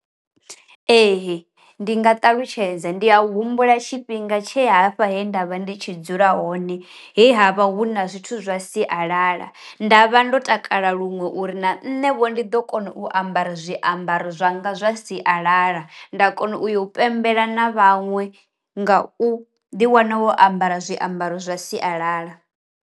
Ee ndi nga ṱalutshedza ndi a humbula tshifhinga tshe hafha he nda vha ndi tshi dzula hone, he havha hu na zwithu zwa sialala ndavha ndo takala luṅwe uri na nṋevho ndi ḓo kona u ambara zwiambaro zwa nga zwa sialala nda kona u ya u pembela na vhaṅwe nga u ḓi wana wo ambara zwiambaro zwa sialala.